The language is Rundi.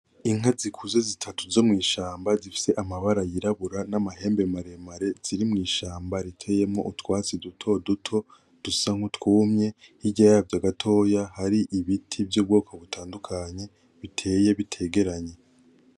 Inka zikuze zitatu zo mw'ishamba zifise amabara yirabura n'amahembe maremare ziri mw'ishamba riteyemwo utwatsi dutoduto dusa nk'utwumye, hirya yavyo gatoya hari ibiti vy'ubwoko butandukanye biteye bitegeranye.